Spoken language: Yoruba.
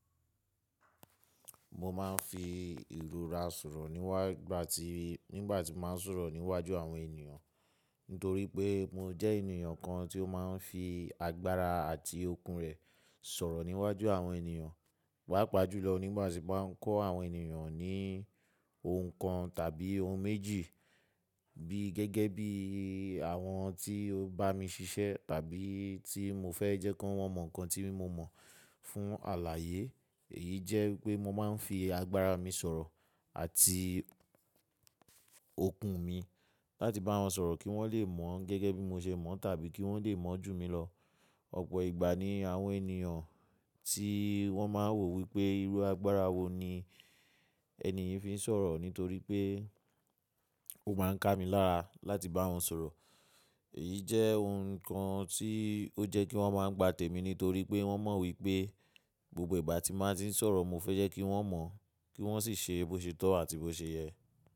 Mo máa ń fi ìlúra sọ̀rọ̀ níwá gba ti nígbà tí mo máa ń sọ̀rọ̀ níwájú àwọn ènìyàn. Nítorí pé mo jẹ́ ènìyàn kan tí ó máa ń fi agbára àti okun rẹ̀ sọ̀rọ̀ níwájú àwọn ènìyàn. Wáàpá júlọ nígbà tí mo máa ń kọ́ àwọn ènìyàn ní ohun kan tàbí ohun méjì bí gẹ́gẹ́ bí àwọn tí ó bá mi ṣiṣẹ́ tàbí tí mo fẹ́ jẹ́ kí wọ́n mọ nǹkan tí mo mọ̀ fún àlàyé. Èyí jẹ́ pé mo máa ń fi agbára mi sọ̀rọ̀ àti okun mi láti bá wọn sọ̀rọ̀ kí wọ́n lè mọ̀ ọ́n gẹ́gẹ́ bí mo ṣe mọ̀ tàbí kí wọ́n lè mọ̀ ju mi lọ. Ọ̀pọ̀ ìgbà ni àwọn ènìyàn tí wọ́n máa ń wò wípé irú agbára wo ni ẹni yìí fi ń sọ̀rọ̀ nítorí pé ó máa ń ká mi lára láti bá wọn sọ̀rọ̀. Èyí jẹ́ ohun kan tí ó jẹ́ kí wọ́n máa ń gba tèmi nítorí pé wọ́n mọ wípé gbogbo ìgbà tí mo bá ti ń sọ̀rọ̀ mo fẹ́ jẹ́ kí wọ́n mọ̀ kí wọ́n sì ṣe bó ṣe tọ́ àti bó ṣe yẹ.